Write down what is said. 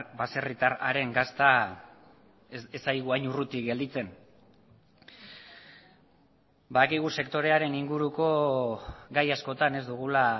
baserritar haren gazta ez zaigu hain urruti gelditzen badakigu sektorearen inguruko gai askotan ez dugula